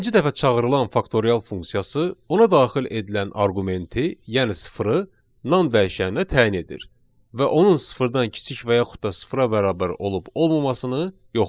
Beşinci dəfə çağırılan faktorial funksiyası ona daxil edilən arqumenti, yəni sıfırı nan dəyişəninə təyin edir və onun sıfırdan kiçik və yaxud da sıfıra bərabər olub olmamasını yoxlayır.